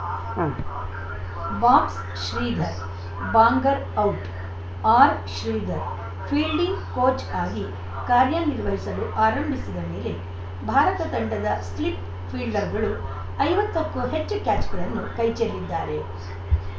ಉಂ box Sridhar Bangar out R Sridhar fielding coach ಆಗಿ ಕಾರ್ಯ ನಿರ್ವಹಿಸಲು ಆರಂಭಿಸಿದ ಮೇಲೆ ಭಾರತ ತಂಡದ ಸ್ಲಿಪ್‌ ಫೀಲ್ಡರ್‌ಗಳು ಐವತ್ತಕ್ಕೂ ಹೆಚ್ಚು ಕ್ಯಾಚ್‌ಗಳನ್ನು ಕೈಚೆಲ್ಲಿದ್ದಾರೆ